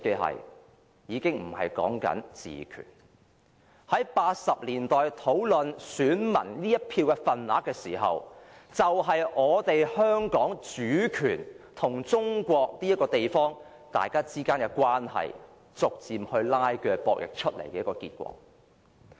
在1980年代討論選民這一票的份額時，就是我們香港主權和中國這個地方之間的關係，逐漸拉鋸、角力出來的結果。